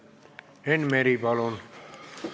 Enn Meri, palun!